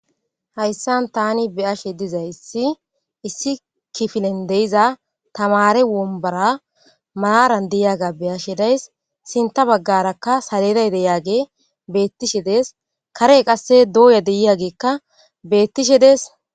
Hayssan taani be7ashe dizay issi kifile giddon diza tamaare wombbora maaran de7iyagey be7ashe days sintta baggara xarapphe dizay beetishe dees karey doya dizayssi beetishe dees.